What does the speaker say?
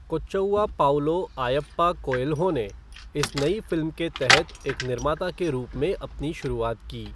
कोच्चउआ Paulo आयप्पा Coelho ने इस नई फ़िल्म के तहत एक निर्माता के रूप में अपनी शुरुआत की।